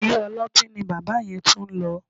Ilé-ọlọ́tí ni bàbá yẹn tún lọ